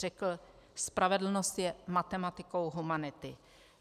Řekl: "Spravedlnost je matematikou humanity."